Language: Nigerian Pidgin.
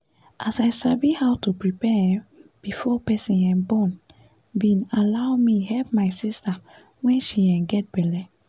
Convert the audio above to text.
as i sabi how to prepare um before person um borne bin allow me help my sister when she um gets belle